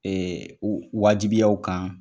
Ɛɛ wajibiya u kan .